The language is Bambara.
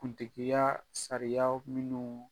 Kuntigiyaa sariyaw minnuu